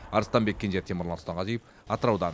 арыстанбек кенже темірлан сұлтанғазиев атыраудан